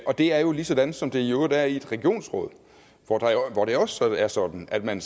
og det er jo lige sådan som det i øvrigt er i et regionsråd hvor det også er sådan at man